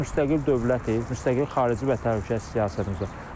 Biz müstəqil dövlətik, müstəqil xarici və təhlükəsizlik siyasətimiz var.